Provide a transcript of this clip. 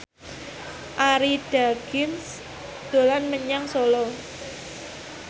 Arie Daginks dolan menyang Solo